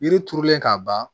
Yiri turulen ka ban